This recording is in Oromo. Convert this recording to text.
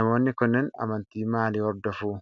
Namootni kunneen amantii maalii hordofu?